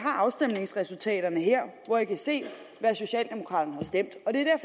afstemningsresultaterne her hvor jeg kan se hvad socialdemokraterne stemte